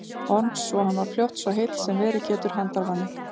Orms svo hann varð fljótt svo heill sem verið getur handarvani.